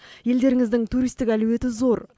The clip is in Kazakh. елдеріңіздің туристік әлеуеті зор